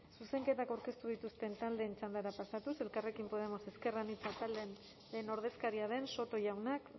zuzenketak aurkeztu dituzten taldeen txandara pasatuz elkarrekin podemos ezker anitza taldearen ordezkaria den soto jaunak